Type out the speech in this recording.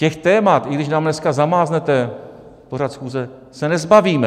Těch témat, i když nám dneska zamáznete pořad schůze, se nezbavíme.